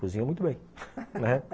Cozinha muito bem, né?